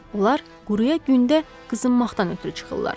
Onlar quraya gündə qızınmaqdan ötrü çıxırlar.